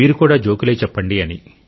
మీరు కూడా జోకులే చెప్పండి అని